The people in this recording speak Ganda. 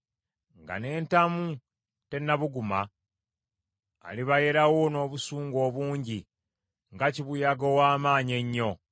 Nga n’entamu tennabuguma, alibayerawo n’obusungu obungi nga kibuyaga ow’amaanyi ennyo.